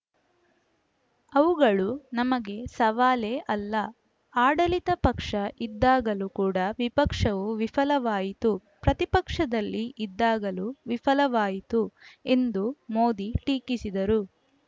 ಅವುಗಳು ನಮಗೆ ಸವಾಲೇ ಅಲ್ಲ ಆಡಳಿತ ಪಕ್ಷ ಇದ್ದಾಗಲೂ ಕೂಡ ವಿಪಕ್ಷವು ವಿಫಲವಾಯಿತು ಪ್ರತಿಪಕ್ಷದಲ್ಲಿ ಇದ್ದಾಗಲೂ ವಿಫಲವಾಯಿತು ಎಂದು ಮೋದಿ ಟೀಕಿಸಿದರು